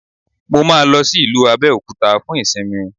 Mo máa lọ sí ìlú Abẹ́òkúta fún ìsinmi